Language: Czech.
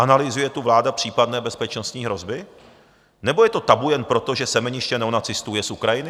Analyzuje tu vláda případné bezpečnostní hrozby, nebo je to tabu jen proto, že semeniště neonacistů je z Ukrajiny?